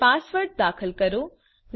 હવે પાસવર્ડ દાખલ કરો